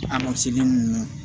A ma segi mun